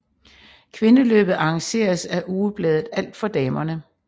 Kvindeløbet arrangeres af ugebladet Alt for damerne